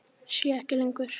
Sé ekki lengur.